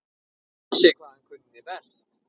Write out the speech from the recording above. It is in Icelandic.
Vissi hvað hann kunni best.